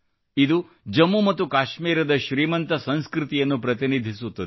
ಇದು ಜಮ್ಮು ಮತ್ತು ಕಾಶ್ಮೀರದ ಶ್ರೀಮಂತ ಸಂಸ್ಕೃತಿಯನ್ನು ಪ್ರತಿನಿಧಿಸುತ್ತದೆ